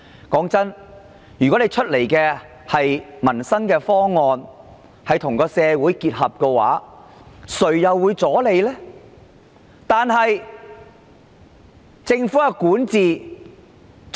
老實說，如果推出的民生方案能夠與社會結合，誰人會阻撓？